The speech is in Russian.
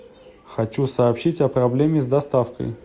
хочу сообщить о проблеме с доставкой